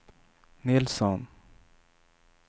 Nilsson